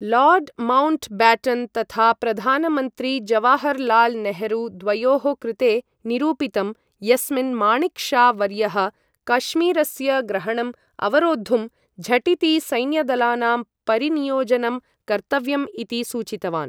Lord Mountbatten तथा प्रधानमन्त्री जवाहर् लाल् नेहरू द्वयोः कृते निरूपितम्, यस्मिन् माणिक् शा वर्यः कश्मीरस्य ग्रहणम् अवरोद्धुं झटिति सैन्यदलानां परिनियोजनं कर्तव्यम् इति सूचितवान्।